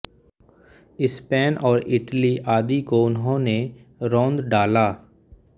Spain और Italy आदि को उन्होंने रौंद डाला